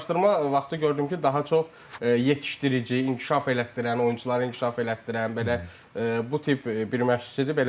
Araşdırma vaxtı gördüm ki, daha çox yetişdirici, inkişaf elətdirən, oyunçuları inkişaf elətdirən, belə bu tip bir məşqçidir.